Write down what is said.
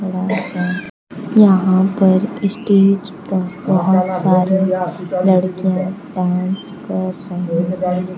यहां पर स्टेज पर बहुत सारे लड़कियां डांस कर रही हैं।